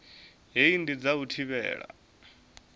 hei ndi dza u thivhela